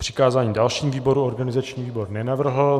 Přikázání dalšímu výboru organizační výbor nenavrhl.